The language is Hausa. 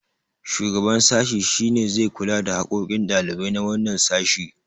shugaban sashi shi ne zai kula hakokin ɗalibai na wannan sashi